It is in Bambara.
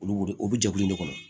Olu de olu jɛkulu in de kɔnɔ